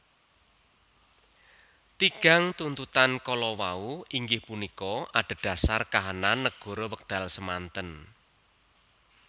Tigang tuntutang kalawau inggih punika adhedhasar kahanan nagara wekdal semanten